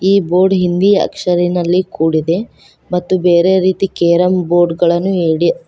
ಈ ಬೋರ್ಡ್ ಹಿಂದಿ ಅಕ್ಷರ ನಲ್ಲಿ ಕೂಡಿದೆ ಮತ್ತು ಬೇರೆ ರೀತಿ ಕೇರಂ ಬೋರ್ಡ್ ಗಳನ್ನು ಇಡಲಾಗಿದೆ.